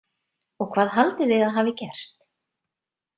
Og hvað haldið þið að hafi gerst?